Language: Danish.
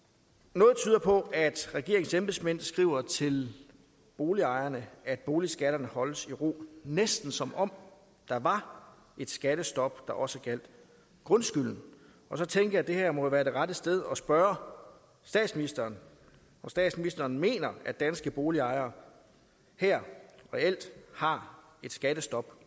noget tyder på at regeringens embedsmænd skriver til boligejerne at boligskatterne holdes i ro næsten som om der var et skattestop der også gjaldt grundskylden så tænkte jeg at det her jo må være det rette sted at spørge statsministeren om statsministeren mener at danske boligejere her reelt har et skattestop